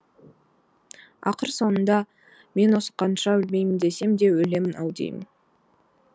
ақыр соңында мен осы қанша өлмеймін десем де өлемін ау деймін